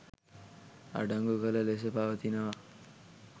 අඩංගු කළ ලෙසම පවතිනවා.